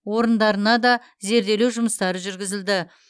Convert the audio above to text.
орындарына да зерделеу жұмыстары жүргізілді